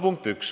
Punkt üks.